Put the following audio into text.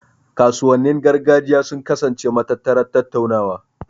Kasuwannin gargajiya sun kasance matattarar tattaunawa.